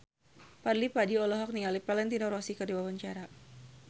Fadly Padi olohok ningali Valentino Rossi keur diwawancara